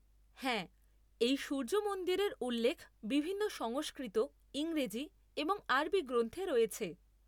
হ্যাঁ, এই সূর্য মন্দিরের উল্লেখ বিভিন্ন সংস্কৃত, ইংরেজি এবং আরবি গ্রন্থে রয়েছে।